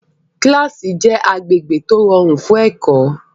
Kílásì jẹ́ agbègbè tó rọrùn fún ẹ̀kọ́